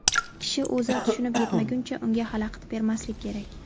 Kishi o‘zi tushunib yetmaguncha unga xalaqit bermaslik kerak.